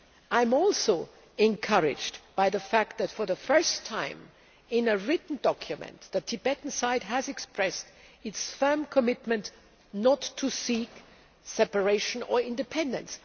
I am also encouraged by the fact that, for the first time in a written document, the Tibetan side has expressed its firm commitment not to seek separation or independence.